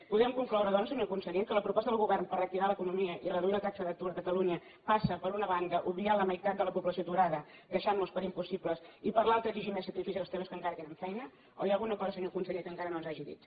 podem concloure doncs senyor conseller que la proposta del govern per reactivar l’economia i reduir la taxa d’atur a catalunya passa per una banda per obviar la meitat de la població aturada deixant los per impossibles i per l’altra exigir més sacrificis als treballadors que encara tenen feina o hi ha alguna cosa senyor conseller que encara no ens hagi dit